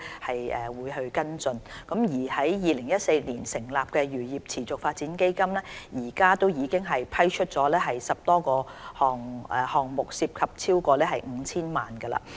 此外，在2014年成立的"漁業持續發展基金"，至今已批出10個項目，涉及超過 5,000 萬元。